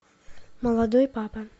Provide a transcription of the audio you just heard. молодой папа